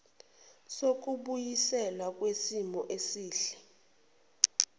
sokubuyiselwa kwisimo esihle